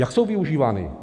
Jak jsou využívány?